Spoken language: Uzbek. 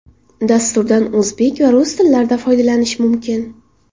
Dasturdan o‘zbek va rus tillarida foydalanish mumkin.